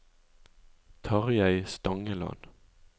Tarjei Stangeland